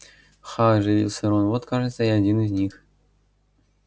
ха оживился рон вот кажется и один из них